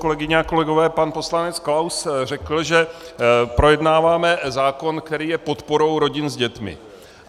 Kolegyně a kolegové, pan poslanec Klaus řekl, že projednáváme zákon, který je podporou rodin s dětmi.